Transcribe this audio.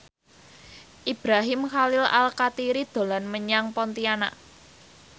Ibrahim Khalil Alkatiri dolan menyang Pontianak